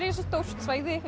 stórt svæði